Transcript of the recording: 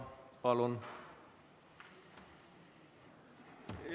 Palun!